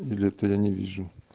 или это я не вижу